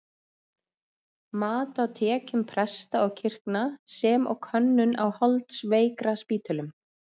Mat á tekjum presta og kirkna, sem og könnun á holdsveikraspítölum.